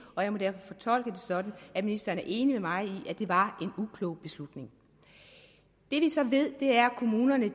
og jeg må derfor fortolke det sådan at ministeren er enig med mig i at det var en uklog beslutning det vi så ved er at kommunerne